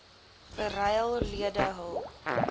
beryl lede hul